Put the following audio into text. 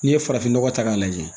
N'i ye farafinnɔgɔ ta k'a lajɛ